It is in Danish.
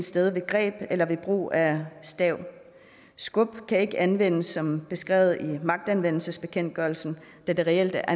sted ved greb eller ved brug af stav skub kan ikke anvendes som beskrevet i magtanvendelsesbekendtgørelsen da det reelt